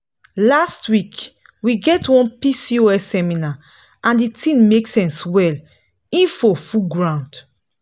last week we get one pcos seminar and the thing make sense well info full ground